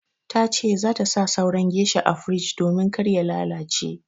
Ta ce za ta sa sauran geisha a firij domin kar ya lalace.